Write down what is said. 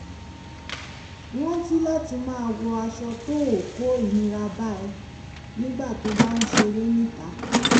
rántí láti máa wọ aṣọ tó ò kó ìnira bá ẹ nígbà tó o bá ń ṣeré níta